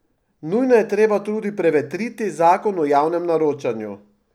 Nujno je treba tudi prevetriti zakon o javnem naročanju.